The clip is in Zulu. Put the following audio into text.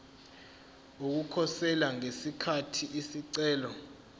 ukukhosela ngesikhathi isicelo